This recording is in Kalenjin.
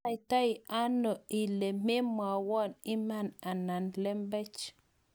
anaitaone ile maimwowo iman anan lembech?